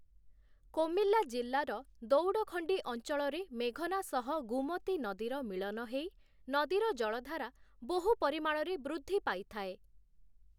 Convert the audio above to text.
କୋମିଲ୍ଲା ଜିଲ୍ଲାର ଦଉଡଖଣ୍ଡି ଅଞ୍ଚଳରେ ମେଘନା ସହ ଗୁମତି ନଦୀର ମିଳନ ହେଇ, ନଦୀର ଜଳଧାରା ବହୁ ପରିମାଣରେ ବୃଦ୍ଧି ପାଇଥାଏ ।